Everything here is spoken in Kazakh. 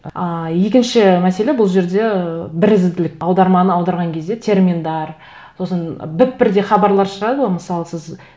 ыыы екінші мәселе бұл жерде ыыы бірізділік аударманы аударған кезде терминдер сосын біп бірдей хабарлар шығады ғой мысалы сіз